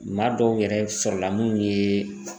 Maa dɔw yɛrɛ sɔrɔ la munni ye